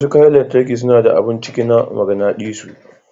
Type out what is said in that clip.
Wasu kayan lantarki suna da abun ciki na maganadisu.